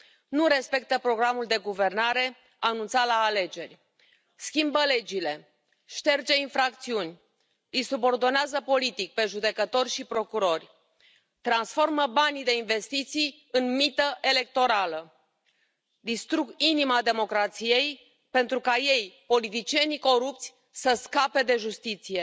Nu respectă programul de guvernare anunțat la alegeri, schimbă legile, șterge infracțiuni, îi subordonează politic pe judecători și procurori, transformă banii de investiții în mită electorală, distrug inima democrației pentru ca ei, politicienii corupți, să scape de justiție.